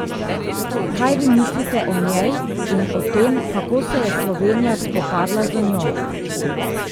Kaj vi mislite o njej in o tem kako se je Slovenija spopadla z njo?